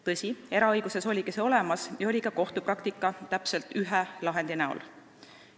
Tõsi, eraõiguses oligi see olemas ja oli olemas ka kohtupraktika täpselt ühe lahendi kujul.